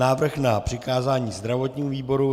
Návrh na přikázání zdravotnímu výboru.